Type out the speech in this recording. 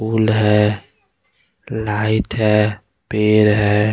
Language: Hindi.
फूल है लाइट है पेर है।